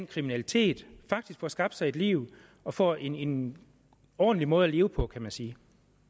kriminalitet og faktisk får skabt sig et liv og får en ordentlig måde at leve på kan man sige